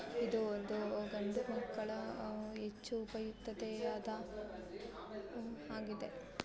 ಇದು ಒಂದು ಗಂಡುಮಕ್ಕಳ ಹೆಚ್ಚು ಉಯುಕ್ತತೆ ಯಾದ ಆಗಿದೆ